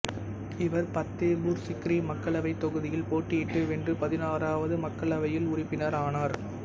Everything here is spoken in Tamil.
இவர் பத்தேபூர் சிக்ரி மக்களவைத் தொகுதியில் போட்டியிட்டு வென்று பதினாறாவது மக்களவையில் உறுப்பினர் ஆனார்